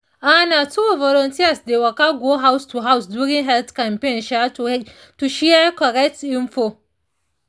ah na true volunteers dey waka go house to house during health campaign um to share correct info